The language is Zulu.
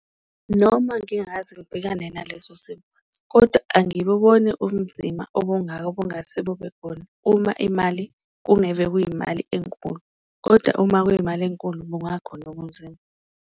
Noma ngingakaze ngibhekane naleso simo kodwa angibuboni ubumzimba obungako obungase bube khona uma imali kuyimali enkulu, kodwa uma kuyimali enkulu kungakhona ubunzima.